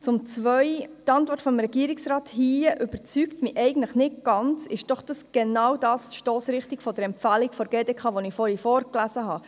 Zum Punkt 2: Die Antwort des Regierungsrates überzeugt mich nicht ganz, zielt der Punkt doch genau in die Stossrichtung der GDK-Empfehlung, die ich vorgelesen habe.